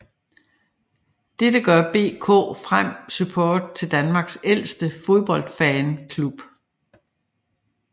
Dette gør BK Frem Support til Danmarks ældste fodboldfanklub